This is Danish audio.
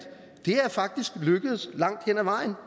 faktisk er lykkedes langt hen ad vejen